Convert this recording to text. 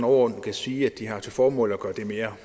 overordnet kan sige at de har til formål at gøre det mere